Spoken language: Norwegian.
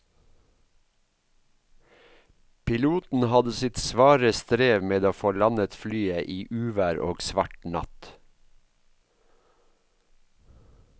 Piloten hadde sitt svare strev med å få landet flyet i uvær og svart natt.